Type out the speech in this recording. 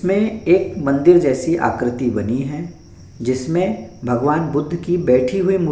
जिसमें एक मंदिर जैसी आकृति बनी है जिसमें भगवान बुद्ध की बैठी हुई मू --